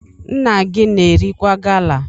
Nna gi na-erikwa gala?